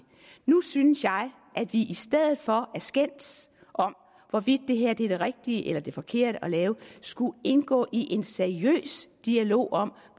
nu synes jeg at vi i stedet for at skændes om hvorvidt det her er det rigtige eller det forkerte at lave skulle indgå i en seriøs dialog om